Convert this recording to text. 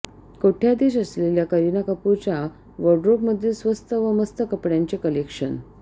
कोट्यधीश असलेल्या करीना कपूरच्या वॉडरोबमधील स्वस्त व मस्त कपड्यांचे कलेक्शन